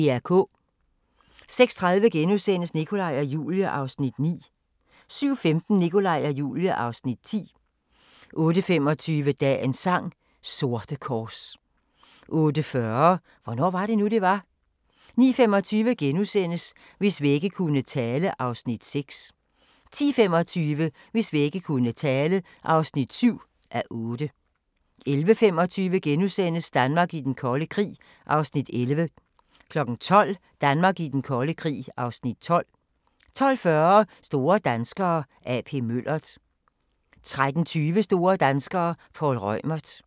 06:30: Nikolaj og Julie (Afs. 9)* 07:15: Nikolaj og Julie (Afs. 10) 08:25: Dagens sang: Sorte kors 08:40: Hvornår var det nu, det var? 09:25: Hvis vægge kunne tale (Afs. 6)* 10:25: Hvis vægge kunne tale (7:8) 11:25: Danmark i den kolde krig (Afs. 11)* 12:00: Danmark i den kolde krig (Afs. 12) 12:40: Store danskere – A.P. Møller 13:20: Store danskere - Poul Reumert